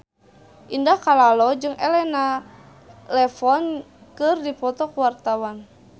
Indah Kalalo jeung Elena Levon keur dipoto ku wartawan